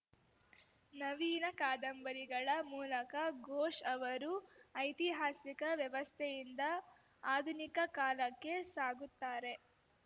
ನವೀನ ಕಾದಂಬರಿಗಳ ಮೂಲಕ ಘೋಷ್‌ ಅವರು ಐತಿಹಾಸಿಕ ವ್ಯವಸ್ಥೆಯಿಂದ ಆಧುನಿಕ ಕಾಲಕ್ಕೆ ಸಾಗುತ್ತಾರೆ